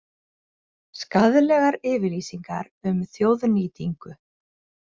Skaðlegar yfirlýsingar um þjóðnýtingu